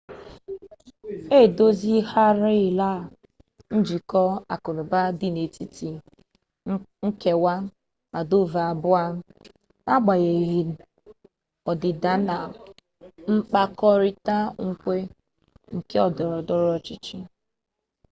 e dozigharịala njikọ akụnaụba dị n'etiti nkewa moldova abụọ a n'agbanyeghi ọdịda na mkpakọrịta nkwe nke ndọrọndọrọ ọchịchị